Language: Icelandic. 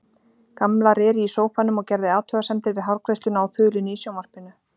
Gamla réri í sófanum og gerði athugasemdir við hárgreiðsluna á þulunni í sjónvarpinu.